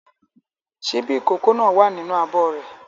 Ṣíbí ìkókó náà wà nínú abọ́ rẹ̀.